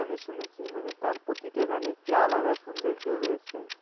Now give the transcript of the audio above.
আমি শুনেছি মানে তার প্রতিটা গানেই একটি আলাদা সৌন্দর্য রয়েছে।